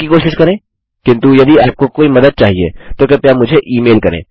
इनकी कोशिश करें किन्तु यदि आपको कोई मदद चाहिए तो कृपया मुझे ई मेल करें